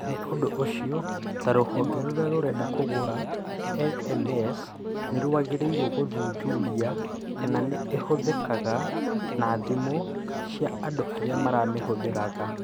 Nĩ ũndũ ũcio, ta rũhonge rũrĩa rũrenda kũgũra LMS, nĩ wagĩrĩirũo gũthuthuria kana nĩ ĩhũthĩkaga na thimũ cia andũ arĩa marĩmĩhũthĩraga